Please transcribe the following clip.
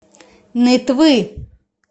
нытвы